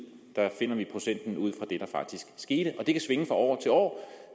procenten ud fra det der faktisk skete og det kan svinge fra år til år